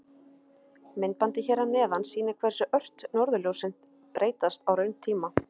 Myndbandið hér að neðan sýnir hversu ört norðurljósin breytast á rauntíma.